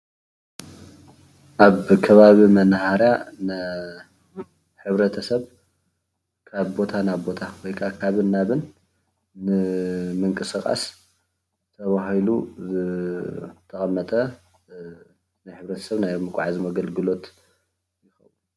ኣብ ከባቢ መናሃርያ ንሕብረተሰብ ካብ ቦታ ናብ ቦታ ወይ ከዓ ካብን ናብን ንምንቅስቃስ ተባሂሉ ዝተቀመጠ ንሕብረተሰብ ናይ ምጉዓዝ ኣገልግሎት፡፡